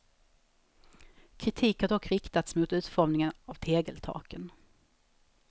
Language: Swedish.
Kritik har dock riktats mot utformningen av tegeltaken.